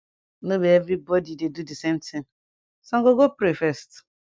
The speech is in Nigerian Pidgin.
no be everi bodi dey do d same tin sum go go pray first